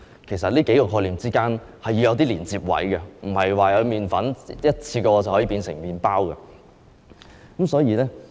其實，這數個概念之間是要有連接位的，不是麵粉一下子便可以變成麵包。